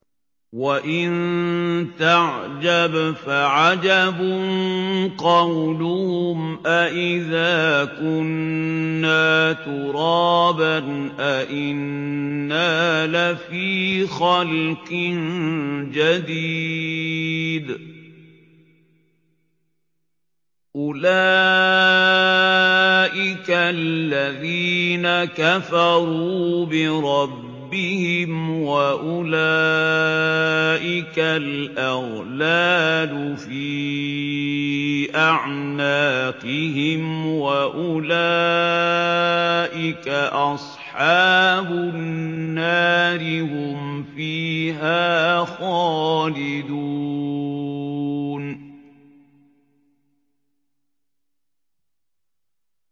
۞ وَإِن تَعْجَبْ فَعَجَبٌ قَوْلُهُمْ أَإِذَا كُنَّا تُرَابًا أَإِنَّا لَفِي خَلْقٍ جَدِيدٍ ۗ أُولَٰئِكَ الَّذِينَ كَفَرُوا بِرَبِّهِمْ ۖ وَأُولَٰئِكَ الْأَغْلَالُ فِي أَعْنَاقِهِمْ ۖ وَأُولَٰئِكَ أَصْحَابُ النَّارِ ۖ هُمْ فِيهَا خَالِدُونَ